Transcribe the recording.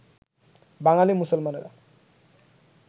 বাঙালী মুসলমানেরা